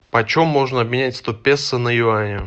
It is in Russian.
почем можно обменять сто песо на юани